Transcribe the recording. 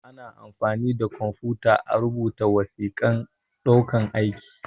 Ana amfani da kwamfuta a rubuta wasiƙan ɗaukan aiki